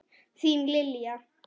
Þín Lilja.